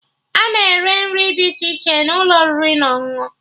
Ana ere nri dị iche n'ụlọ oriri na ọṅụṅụ